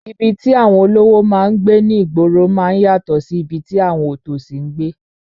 Ibi tí àwọn olówó máa ń gbé ní ìgboro máa ń yàtọ̀ sí ibi tí àwọn òtòṣì ń gbé